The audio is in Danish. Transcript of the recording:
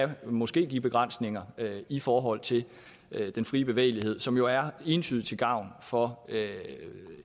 det måske give begrænsninger i forhold til den frie bevægelighed som jo er entydigt til gavn for